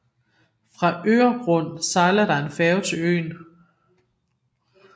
Fra Öregrund sejler der en færge til øen